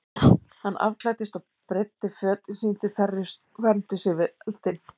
Hann afklæddist og breiddi fötin sín til þerris og vermdi sig við eldinn.